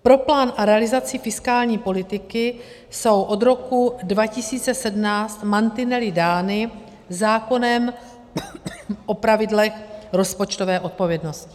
Pro plán a realizaci fiskální politiky jsou od roku 2017 mantinely dány zákonem o pravidlech rozpočtové odpovědnosti.